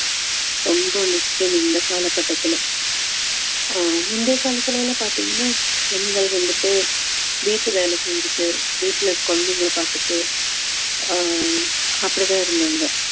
ரொம்ப முக்கியம் இந்த காலகட்டத்துல அஹ் முந்தைய காலத்துல எல்லாம் பார்த்தீங்கன்னா பெண்கள் வந்துட்டு வீட்டு வேலை செஞ்சுட்டு வீட்டுல குழந்தைகளை பார்த்துட்டு ஆஹ் அப்படித்தான் இருந்தாங்க